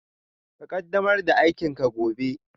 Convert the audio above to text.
Ka ƙaddamar da aikinka gobe